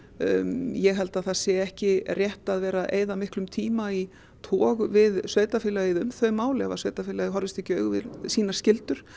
ég held að það sé ekki rétt að vera að eyða miklum tíma í tog við sveitarfélagið um þau mál ef sveitarfélagið horfist ekki í augu við sínar skyldur